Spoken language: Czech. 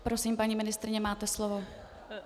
Prosím, paní ministryně, máte slovo.